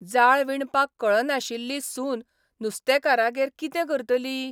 जाळ विणपाक कळनाशिल्ली सून नुस्तेकारागेर कितें करतली?